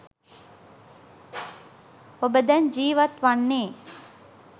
ඔබ දැන් ජීවත් වන්නේ